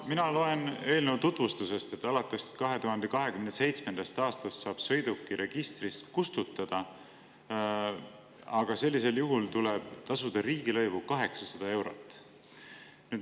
Mina loen eelnõu tutvustusest, et alates 2027. aastast saab sõiduki registrist kustutada, aga sellisel juhul tuleb tasuda riigilõivu 800 eurot.